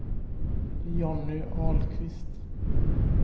Jonny Ahlqvist